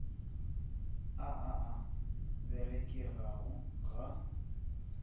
a a a berekago ga